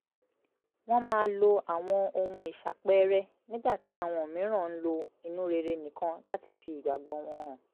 wọ́n máa lo àwọn ohun ìṣàpẹẹrẹ nígbà tí àwọn mìíràn ń lo inú rere nìkan láti fi ìgbàgbọ́ wọn hàn